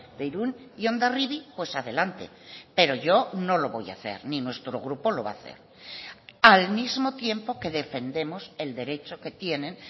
de irún y hondarribia pues adelante pero yo no lo voy a hacer ni nuestro grupo lo va a hacer al mismo tiempo que defendemos el derecho que tienen